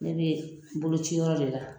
Ne bɛ boloci yɔrɔ de la.